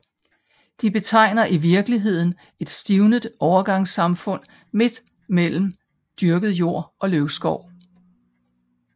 De betegner i virkeligheden et stivnet overgangssamfund midt mellem dyrket jord og løvskov